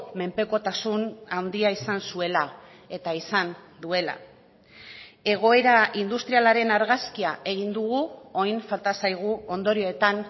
menpekotasun handia izan zuela eta izan duela egoera industrialaren argazkia egin dugu orain falta zaigu ondorioetan